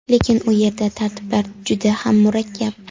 Lekin u yerda tartiblar juda ham murakkab.